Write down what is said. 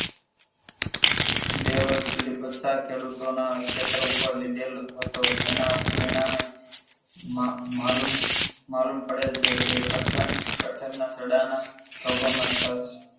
બે વર્ષ સુધી પત્તા ખેડૂતોના ખેતર ઉપર લીધેલ હતો જેના પરિણામે માલમ માલમ પડેલ છે કે કઠણ કઠણ સડા ના